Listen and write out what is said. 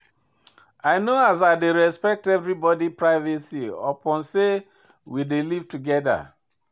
I know as I dey respect everybodi privacy upon sey we dey live togeda.